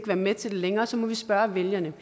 være med til det længere og så må vi spørge vælgerne